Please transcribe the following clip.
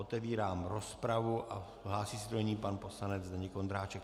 Otevírám rozpravu a hlásí se do ní pan poslanec Zdeněk Ondráček.